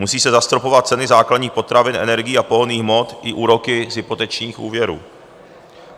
Musí se zastropovat ceny základních potravin, energií a pohonných hmot i úroky z hypotečních úvěrů.